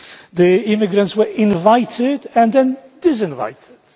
The immigrants were invited and then disinvited.